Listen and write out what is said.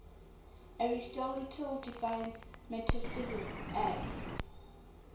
aristotle defines metaphysics as